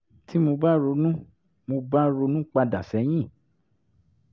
tí mo bá ronú mo bá ronú pa dà sẹ́yìn